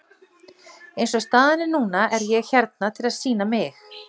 Eins og staðan er núna er ég hérna til að sýna mig.